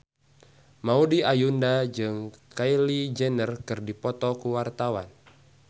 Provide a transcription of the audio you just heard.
Maudy Ayunda jeung Kylie Jenner keur dipoto ku wartawan